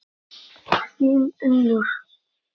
Þín, Unnur.